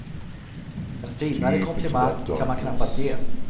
En finare komplimang kan man knappast ge.